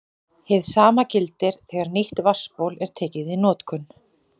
Hið sama gildir þegar nýtt vatnsból er tekið í notkun.